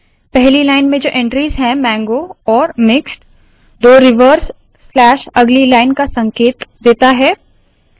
पहली लाइन में जो एंट्रीज़ है मांगो और मिक्स्ड दो रिवर्स स्लैश अगली लाइन का संकेत देता है